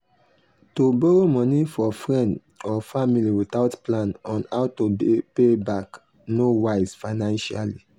to borrow money for friend or family without plan on how to pay back no wise financially.